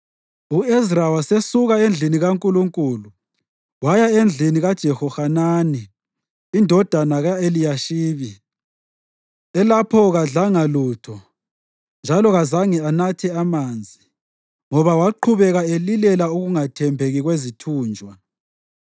U-Ezra wasesuka endlini kaNkulunkulu waya endlini kaJehohanani indodana ka-Eliyashibi. Elapho kadlanga lutho njalo kazange anathe manzi, ngoba waqhubeka elilela ukungathembeki kwezithunjwa.